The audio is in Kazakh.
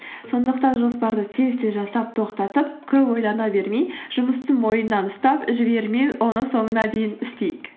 сондықтан жоспарды тез тез жасап тоқтатып көп ойлана бермей жұмысты мойнынан ұстап жібермей оны соңына дейін істейік